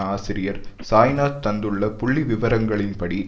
ஆசிரியர் சாய்நாத் தந்துள்ள புள்ளி விவரங்களின் படி